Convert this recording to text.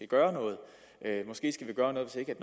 gøre noget måske skal vi gøre noget hvis ikke